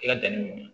I ka danni nunnu